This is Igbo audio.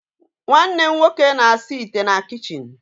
Nwannem nwoke na-asa ite na kichin